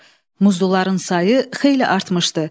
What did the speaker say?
Muzluların sayı xeyli artmışdı.